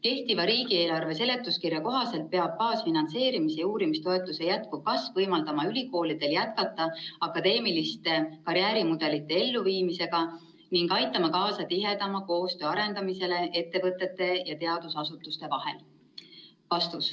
Kehtiva riigieelarve seletuskirja kohaselt peab baasfinantseerimise ja uurimistoetuste jätkuv kasv võimaldama ülikoolidel jätkata akadeemiliste karjäärimudelite elluviimisega ning aitama kaasa tihedama koostöö arendamisele ettevõtete ja teadusasutuste vahel.